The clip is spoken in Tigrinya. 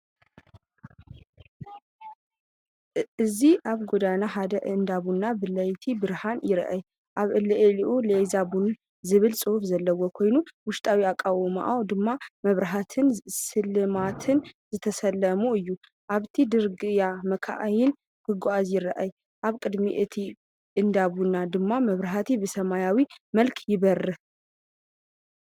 እዚ ኣብ ጎደና ሓደ እንዳ ቡን ብለይቲ ብብርሃን ይርአ። ኣብ ልዕሊኡ“ኤላዝ ቡን”ዝብል ጽሑፍ ዘለዎ ኮይኑ፡ ውሽጣዊ ኣቃውማኡ ድማ ብመብራህትን ስልማትን ዝተሰለመ እዩ። ኣብቲ ጽርግያ መካይን ክጓዓዛ ይረኣያ፡ኣብ ቅድሚ እቲ እንዳ ቡን ድማ መብራህቲ ብሰማያዊ መልክዕ ይበርህ።